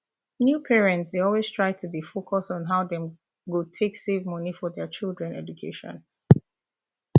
new parents dey always try to dey focus on how dem go take save money for children education